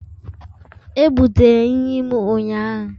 Ebutere nri m ụnyahụ?